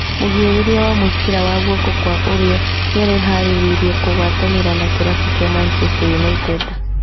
Mũgĩrĩria wa mũbĩra wa guoko kwa ũrĩo nĩareharĩrĩria kũgwatanĩra ba kĩrabu kĩa Manchester United